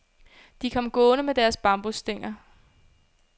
De kom gående med deres bambusstænger.